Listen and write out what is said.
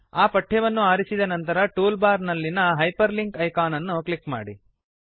ಆ ಪಠ್ಯವನ್ನು ಆರಿಸಿದ ನಂತರ ಟೂಲ್ ಬಾರ್ ನಲ್ಲಿನ ಹೈಪರ್ಲಿಂಕ್ ಐಕಾನ್ ಅನ್ನು ಕ್ಲಿಕ್ ಮಾಡಿ